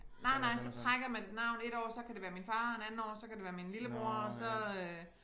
Nej nej så trækker man et navn et år så kan det være min far en andet år så kan det være min lillebror så øh